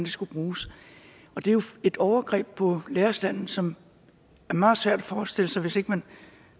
skulle bruges det er jo et overgreb på lærerstanden som er meget svært at forestille sig hvis ikke man